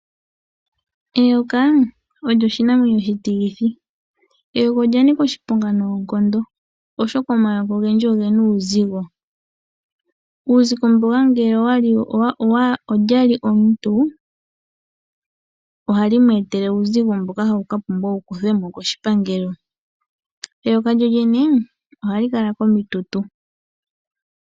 Eyoka olyo oshinamwenyo oshitilithi. Eyoka olya nika oshiponga noonkondo oshoka omayoka ogendji oge na uuzigo, ngele olya li omuntu ohali mu etele uuzigo mboka hawu pumbwa oku ka kuthwa mo koshipangelo. Eyoka lyolyene ohali kala komitutu.